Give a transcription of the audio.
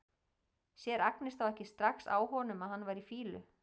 Sér Agnes þá ekki strax á honum að hann var í fýlu?